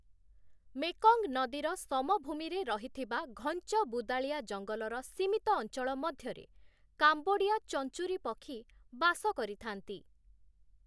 Mekong ନଦୀର ସମଭୂମିରେ ରହିଥିବା ଘଞ୍ଚ ବୁଦାଳିଆ ଜଙ୍ଗଲର ସୀମିତ ଅଞ୍ଚଳ ମଧ୍ୟରେ 'କାମ୍ବୋଡ଼ିଆ ଚଞ୍ଚୂରୀ' ପକ୍ଷୀ ବାସ କରିଥାନ୍ତି ।